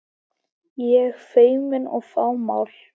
Ég feimin og fámál.